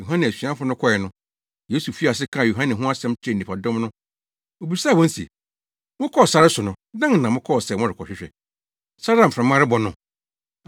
Yohane asuafo no kɔe no, Yesu fii ase kaa Yohane ho asɛm kyerɛɛ nnipadɔm no. Obisaa wɔn se, “Mokɔɔ sare so no, dɛn na mokɔɔ sɛ morekɔhwɛ? Sare a mframa rebɔ no?